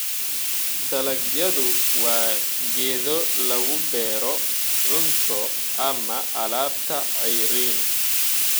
Dalagyadu waa geedo lagu beero cunto ama alaabta ceeriin